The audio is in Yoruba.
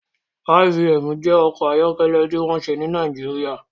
IVM jẹ́ ọkọ̀ ayọ́kẹ́lẹ́ tí wọ́n ṣe ní Nàìjíríà